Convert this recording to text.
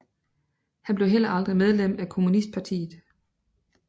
Han blev heller aldrig medlem af kommunistpartiet